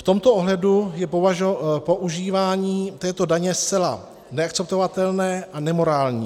V tomto ohledu je používání této daně zcela neakceptovatelné a nemorální.